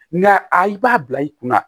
Nka i b'a bila i kunna